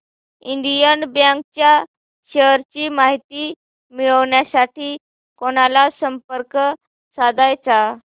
Indian bank च्या shares ची माहिती मिळविण्यासाठी कोणाला संपर्क साधायचा